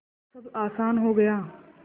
अब सब आसान हो गया